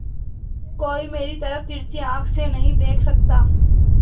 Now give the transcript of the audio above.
कोई मेरी तरफ तिरछी आँख से नहीं देख सकता